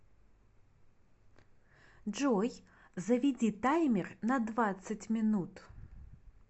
джой заведи таймер на двадцать минут